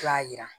I b'a yira